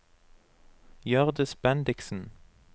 Hjørdis Bendiksen